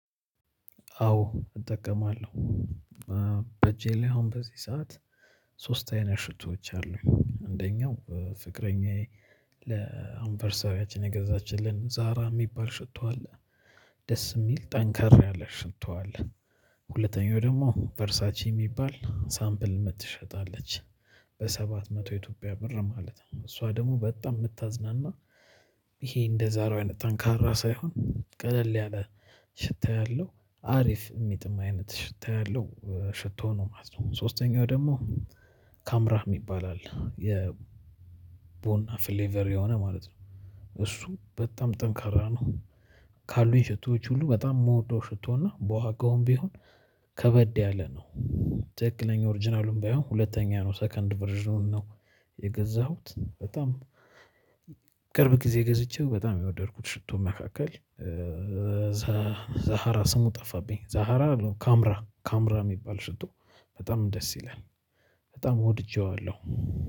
አዎ እጠቀማለሁ። አሁን በ እጄ ላይ ሶስት አይነት ሺቶዎች አለው። አንደኛው ፍቅረኛዬ ነች። የገዛቺልኝ ዛራ የሚባል ሺቶ አለ። ደስ የሚል ጠንከር ያለ ሽቶ አለ። ሁለተኛው ደግሞ አምፕል የሚባል የምትሸጥ አለች። በ ሳባት መቶ በ ኢትዮጵያ ብረረ ማለት ነው። እሷጰደግሞ በጣም የምታዝናና ይሄ እንደ ዛራ ያለ ጠንካራ ሳይሆን ቀለል ያለ ሽታ ያለው አሪፍ የሚጥም አይነት ሽታ ያለው ሽቶ ነው ማለት ነው። ካምራ የሚባል አለ። የ ቦና ፍሌቨር የሆነ ማለት ነው። እሱ በጣም ጠንካራ ነው። ካሉኝ ሽቶዎ ሁሉ በጣም የምወደው እና በዎጋዉም ቢሆን ትክክለኛ ኦሪጅናሉ ባይሆን እንኳን ሁላተኛው ነው ሰከንድ ቨርዢኑን ነው። የገዛውት በጣም በቅርብ ጊዜ ገዝቼው በጣም ከወደድኩት ሽቶ መካከል። ዛሀራ ስሙ ጠፋብኝ ዛራ ነው ካምራ የሚባል ሽቶ በጣመ ደስ ይላል በጣም ወድጄዋለሁ።